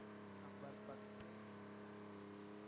Number பத்து